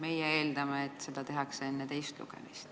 Meie eeldame, et seda tehakse enne teist lugemist.